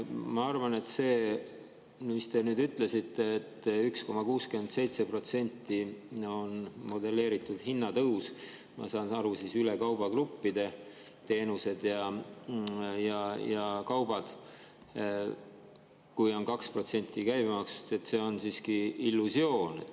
Ma arvan, et see, mis te ütlesite, et 1,67% on modelleeritud hinnatõus, ma saan aru, üle kaubagruppide, nii teenused kui ka kaubad, kui on 2% käibemaksul juures – see on siiski illusioon.